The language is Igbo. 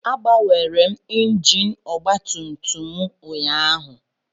M gbanwere injin ọgba tum tum m ụnyaahụ